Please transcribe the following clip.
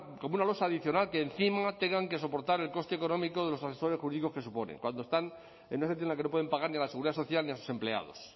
como una losa adicional que encima tengan que soportar el coste económico de los asesores jurídicos que supone cuando están en esa situación en la que no pueden pagar ni la seguridad social ni a sus empleados